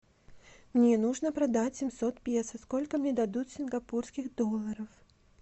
мне нужно продать семьсот песо сколько мне дадут сингапурских долларов